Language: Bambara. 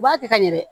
U b'a kɛ ka ɲɛ dɛ